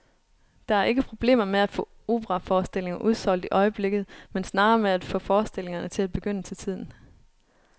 Der er ikke problemer med at få operaforestillinger udsolgt i øjeblikket, men snarere med at få forestillingerne til at begynde til tiden.